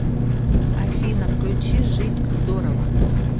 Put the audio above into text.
афина включи жить здорово